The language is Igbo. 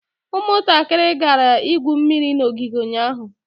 ụmụntakịrị gara igwu egwu n'ogige ụnyahụ